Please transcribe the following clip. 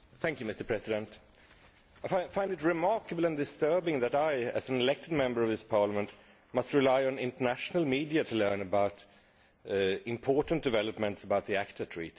Mr President, I find it remarkable and disturbing that I, as an elected Member of this Parliament, must rely on the international media to learn about important developments about the ACTA Treaty.